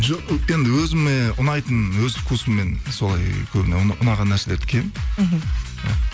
жоқ енді өзіме ұнайтын өз вкусыммен солай көбіне ұнаған нәрселерді киемін мхм